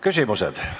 Küsimused.